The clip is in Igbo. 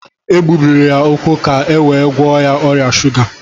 E gbubiri ya úkwú ka e wee gwọọ ya ọrịa shuga